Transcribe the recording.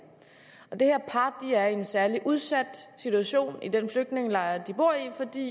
det her par er i en særlig udsat situation i den flygtningelejr de bor i fordi